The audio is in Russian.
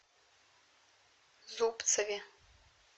зубцове